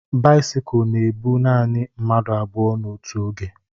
Bisikul na ebu nanị mmadụ abụọ n'otu oge